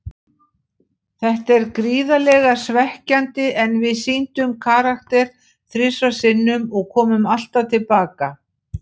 Þetta er gríðarlega svekkjandi, en við sýndum karakter þrisvar sinnum og komum alltaf til baka.